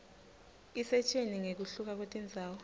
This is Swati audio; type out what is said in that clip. isitjela ngekuhluka kwetindzawo